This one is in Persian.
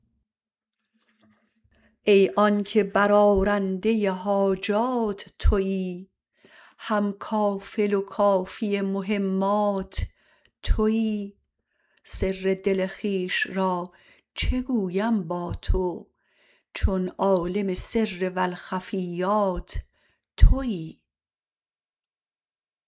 ای آنکه بر آرنده حاجات تویی هم کافل و کافی مهمات تویی سر دل خویش را چه گویم با تو چون عالم سر و الخفیات تویی